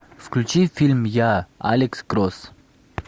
включи фильм я алекс кросс